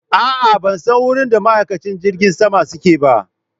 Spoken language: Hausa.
A'a ban san wurin da ma'aikacin jirgin saman suke ba